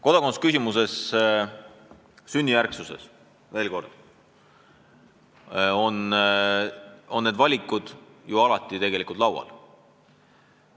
Mis puutub topeltkodakondsusesse, siis veel kord: need valikud on riigil alati laual.